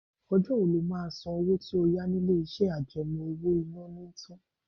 Ọjọ́ wo ló máa san owó tí ó yá ni ilé-iṣẹ́ àjẹmọ́ owó-ìná ni tán?